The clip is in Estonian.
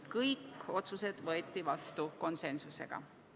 Kõik otsused võeti vastu konsensusega.